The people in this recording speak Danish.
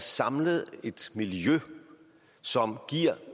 samlet et miljø som giver